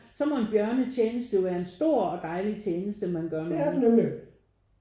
Så må en bjørnetjeneste jo være en stor og dejlig tjeneste man gør mod nogen